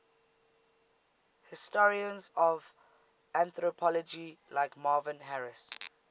historians of anthropology like marvin harris